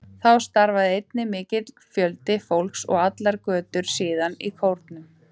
Þá starfaði einnig mikill fjöldi fólks, og allar götur síðan, í kórum.